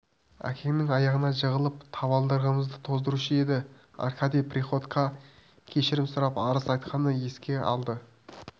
әкеңнің аяғына жығылып табалдырығымызды тоздырушы еді аркадий приходькоға кешірім сұрап арыз айтқанын еске алды